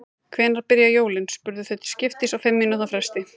Hvenær byrja jólin? spurðu þau til skiptist á fimm mínútna fresti.